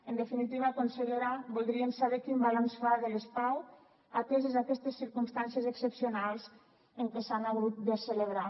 en definitiva consellera voldríem saber quin balanç fa de les pau ateses aquestes circumstàncies excepcionals en què s’han hagut de celebrar